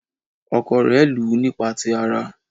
Ọkọ rẹ̀ lù ú nípa ti ara.